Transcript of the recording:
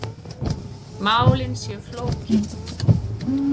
Málin séu flókin.